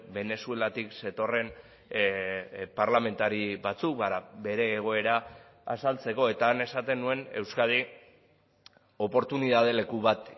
venezuelatik zetorren parlamentari batzuk bere egoera azaltzeko eta han esaten nuen euskadi oportunitate leku bat